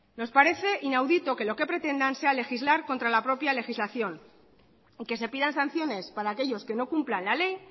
nos parece inaudito que lo que pretendan sea legislar contra la propia legislación y que se pidan sanciones para aquellos que no cumplan la ley